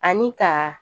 Ani ka